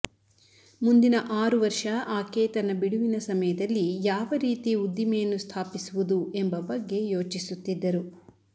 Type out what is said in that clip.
ಮುಂದಿನ ಆರು ವರ್ಷ ಆಕೆ ತನ್ನ ಬಿಡುವಿನ ಸಮಯದಲ್ಲಿ ಯಾವ ರೀತಿ ಉದ್ದಿಮೆಯನ್ನು ಸ್ಥಾಪಿಸುವುದು ಎಂಬ ಬಗ್ಗೆ ಯೋಚಿಸುತ್ತಿದ್ದರು